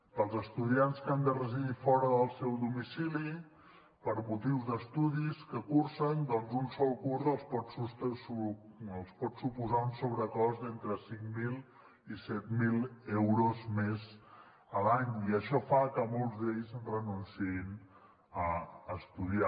per als estudiants que han de residir fora del seu domicili per motius d’estudis que cursen doncs un sol curs els pot suposar un sobrecost d’entre cinc mil i set mil euros més a l’any i això fa que molts d’ells renunciïn a estudiar